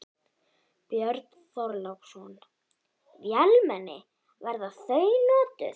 Björn Þorláksson: Vélmenni, verða þau notuð?